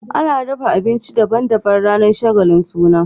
Ana dafa abinci daban daban ranar shagalin suna